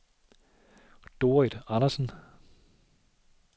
Dorrit Andersen